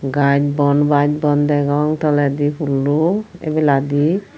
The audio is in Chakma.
gaj bon baj bon degong tolendi pullo ebeladi.